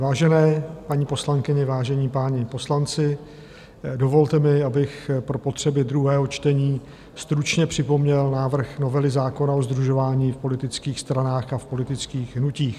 Vážené paní poslankyně, vážení páni poslanci, dovolte mi, abych pro potřeby druhého čtení stručně připomněl návrh novely zákona o sdružování v politických stranách a v politických hnutích.